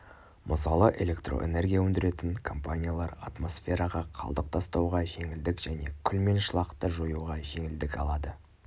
мысалы электроэнергия өндіретін-компаниялар атмосфераға қалдық тастауға жеңілдік және күл мен шылақты жоюға жеңілдік алады